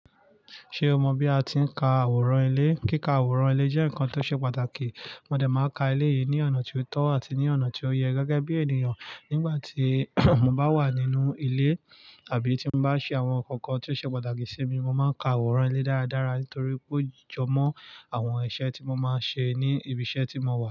Ṣe o mọ bi a ti n ka aworan ile? Kika aworan ile jẹ nkan to se pataki. Mo de ma ka ile yi ni ọna ti o tọ ati ni ọna ti o yẹ, gẹgẹ bi eniyan nigbati mo ba wa ninu ile abi ti mo ba n ṣe awọn nkan kan ti o ṣe pataki si mi. Mo ma ka aworan ile daradara tori pe o jọmọ awọn iṣẹ ti mo ma n ṣe ni ibi iṣẹ ti mo wà.